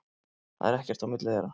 Það er ekkert á milli þeirra.